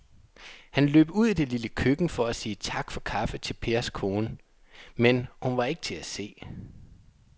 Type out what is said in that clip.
Han løb ud i det lille køkken for at sige tak for kaffe til Pers kone, men hun var ikke til at se.